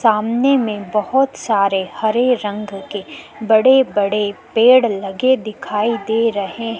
सामने में बोहोत सारे हरे रंग के बड़े बड़े पेड़ लगे दिखाई दे रहे --